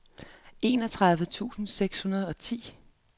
enogtredive tusind seks hundrede og ti